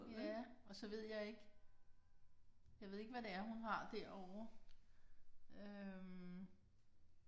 Ja og så ved jeg ikke jeg ved ikke hvad det er hun har derovre øh